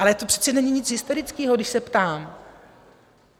Ale to přece není nic hysterického, když se ptám.